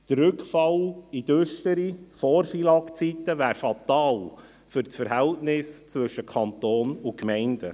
Der Rückfall in düstere Vor-FILAG-Zeiten wäre fatal für das Verhältnis zwischen Kanton und Gemeinden.